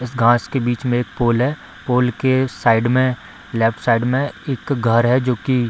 इस घास के बीच में एक पोल है पोल के साइड में लेफ्ट साइड में एक घर है जो की --